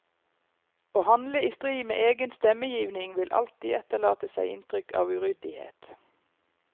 Å handle i strid med egen stemmegivning vil alltid etterlate seg inntrykk av uryddighet.